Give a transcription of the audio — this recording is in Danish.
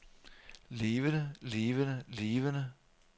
levende levende levende